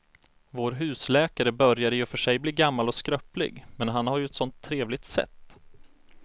Vår husläkare börjar i och för sig bli gammal och skröplig, men han har ju ett sådant trevligt sätt!